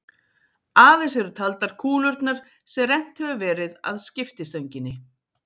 Aðeins eru taldar kúlurnar sem rennt hefur verið að skiptistönginni.